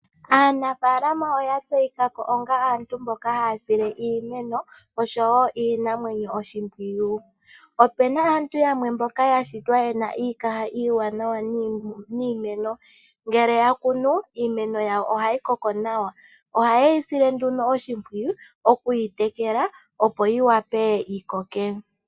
Aanafaalama oya tseyikako onga aantu mboka haya sile iimeno niinamwenyo oshipwiyu. Opena aantu yamwe mboka yashitwa yena iikaha iiwanawa niimeno ngele yakunu iimeno yayo ohayi koko nawa. Oha yeyi sile oshipwiyu okuyi tekela opo yi wape yikoke.